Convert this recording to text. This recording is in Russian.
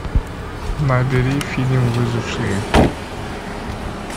набери фильм выжившие